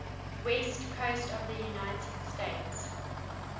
west coast of the united states